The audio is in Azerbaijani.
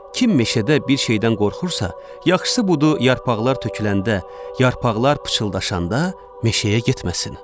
Kim meşədə bir şeydən qorxursa, yaxşısı budur yarpaqlar töküləndə, yarpaqlar pıçıldaşanda meşəyə getməsin.